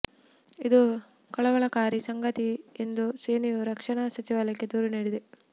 ಇದು ಕಳವಳಕಾರಿ ಸಂಗತಿ ಎಂದು ಸೇನೆಯು ರಕ್ಷಣಾ ಸಚಿವಾಲಯಕ್ಕೆ ದೂರು ನೀಡಿದೆ